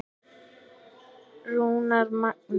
Rúnar Magni.